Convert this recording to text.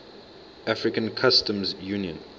african customs union